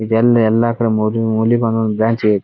ಇದು ಎಲ್ಲಿ ಎಲ್ಲಾಕಡೆ ಮುಲಿ ಮೂಲಿಗೊಂದೋದ ಬಾಯ್ಚ್ ಇರತ್ತೆ.